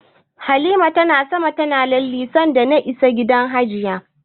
Halima na sama tana lalle sanda na isa gidan jiya.